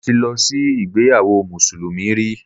Mo ti lọ sí ìgbéyawó mùsùlùmí rí